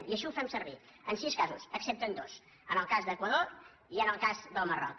i així ho fem servir en sis casos excepte en dos en el cas de l’equador i en el cas del marroc